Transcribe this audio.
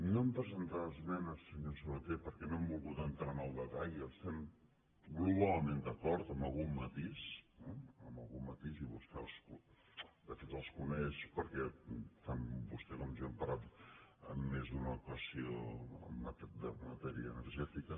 no hem presentat esmenes senyor sabaté perquè no hem volgut entrar en el detall estem globalment d’acord amb algun matís i vostè de fet els coneix perquè tant vostè com jo hem parlat en més d’una ocasió de matèria energètica